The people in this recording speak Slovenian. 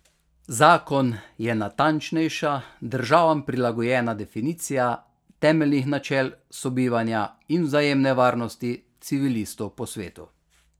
Zakon je natančnejša, državam prilagojena definicija temeljnih načel sobivanja in vzajemne varnosti civilistov po svetu.